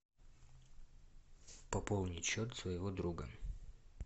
пополнить счет своего друга